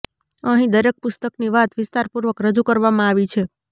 અહીં દરેક પુસ્તકની વાત વિસ્તારપૂર્વક રજૂ કરવામાં આવી છે